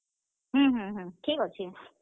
ହୁଁ, ହୁଁ, ହୁଁ, ଠିକ୍ ଅଛେ।